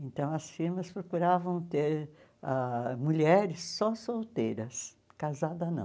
Então as firmas procuravam ter ãh mulheres só solteiras, casada não.